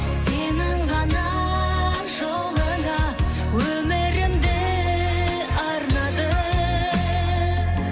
сенің ғана жолыңа өмірімді арнадым